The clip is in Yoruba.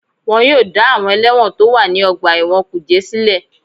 Wọ́n yóò dá àwọn ẹlẹ́wọ̀n tó wà ní ọgbà ẹ̀wọ̀n kùjé sílẹ̀